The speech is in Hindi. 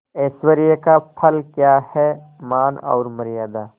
ऐश्वर्य का फल क्या हैमान और मर्यादा